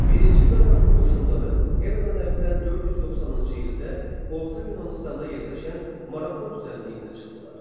Birinci Daranın qoşunları eradan əvvəl 490-cı ildə Orta Yunanıstanda yerləşən Marafon düzənliyinə çıxdılar.